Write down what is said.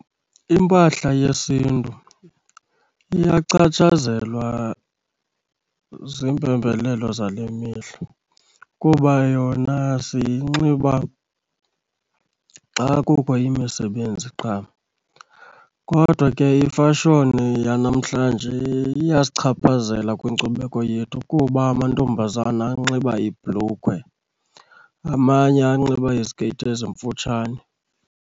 Impahla yesiNtu iyachatshazelwa ziimpembelelo zale mihla kuba yona siyinxiba xa kukho imisebenzi qha. Kodwa ke imfashoni yanamhlanje iyasichaphazela kwinkcubeko yethu kuba amantombazana anxiba iibhulukhwe, amanye anxiba izikeyiti ezimfutshane.